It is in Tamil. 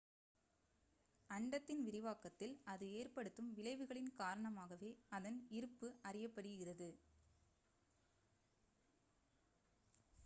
அண்டத்தின் விரிவாக்கத்தில் அது ஏற்படுத்தும் விளைவுகளின் காரணமாகவே அதன் இருப்பு அறியப்படுகிறது